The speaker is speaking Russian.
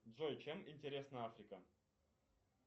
джой чем интересна африка